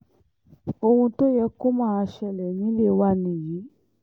ohun tó yẹ kó máa ṣẹlẹ̀ nílé wa nìyí